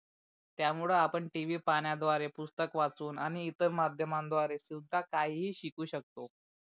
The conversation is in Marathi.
त्या मूळे आपण TV पाहण्याद्वारे पुस्तक वाचून आणि इतर माध्यमाद्वारे चोविश तास काही ही शिकू शकतो.